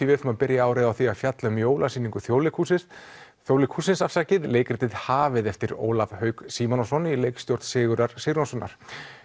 við ætlum að byrja árið á því að fjalla um jólasýningu Þjóðleikhússins Þjóðleikhússins leikritið hafið eftir Ólaf Hauk Símonarson í leikstjórn Sigurðar Sigurjónssonar